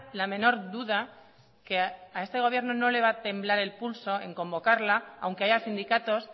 la menor duda que a este gobierno no le va a temblar el pulso en convocarla aunque haya sindicatos